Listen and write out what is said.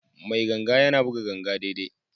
Mai ganga yana buga ganga daidai.